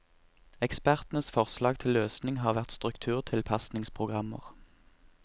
Ekspertenes forslag til løsning har vært strukturtilpasningsprogrammer.